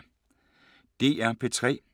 DR P3